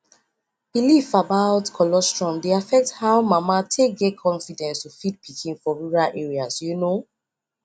belief about colostrum dey affect how mama take get confidence to feed pikin for rural areas you know